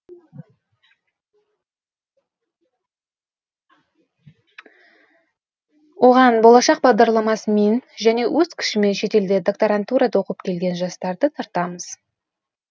оған болашақ бағдарламасымен және өз күшімен шетелде докторантурада оқып келген жастарды тартамыз